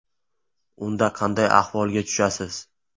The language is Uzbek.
Unda qanday ahvolga tushasiz?